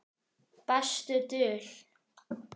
Besta dul